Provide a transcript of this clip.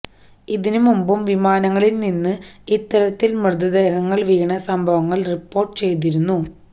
ഇതിന് മുമ്പും വിമാനങ്ങളില് നിന്നും ഇത്തരത്തില് മൃതദേഹങ്ങള് വീണ സംഭവങ്ങള് റിപ്പോര്ട്ട് ചെയ്തിരുന്നു